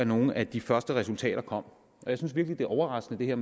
nogle af de første resultater kom jeg synes virkelig det er overraskende